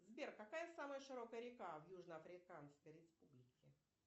сбер какая самая широкая река в южноафриканской республике